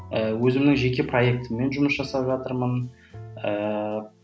ы өзімнің жеке проектіммен жұмыс жасап жатырмын ыыы